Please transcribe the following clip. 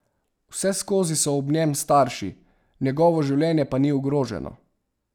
Vseskozi so ob njem starši, njegovo življenje pa ni ogroženo.